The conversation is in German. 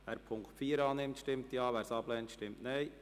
Wer den Punkt 4 annimmt, stimmt Ja, wer dies ablehnt, stimmt Nein.